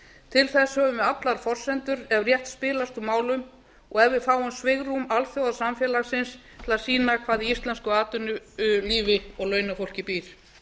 til þess höfum við allar forsendur ef rétt spilast úr málum og ef við fáum svigrúm alþjóðasamfélagsins til að sýna hvað í íslensku atvinnulífi og launafólki býr